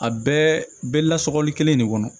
A bɛɛ bɛ lasɔli kelen de kɔnɔ